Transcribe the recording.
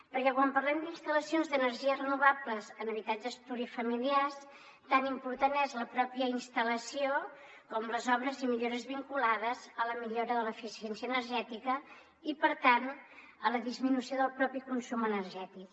perquè quan parlem d’instal·lacions d’energies renovables en habitatges plurifamiliars tant important és la mateixa instal·lació com les obres i millores vinculades a la millora de l’eficiència energètica i per tant a la disminució del mateix consum energètic